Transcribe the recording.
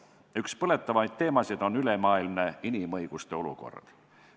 Üks põletavamaid teemasid on ülemaailmne inimõiguste olukord.